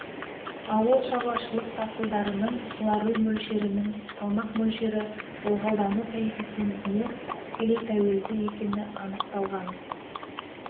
ауылшаруашылық дақылдарының суару мөлшерінің салмақ мөлшері ылғалдану коэффициентіне тікелей тәуелді екені анықталған